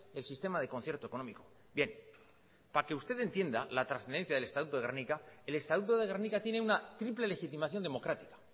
del sistema de concierto económico bien para que usted entienda la trascendencia del estatuto de gernika el estatuto de gernika tiene una triple legitimación democrática